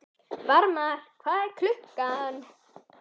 Varmar, hvað er klukkan?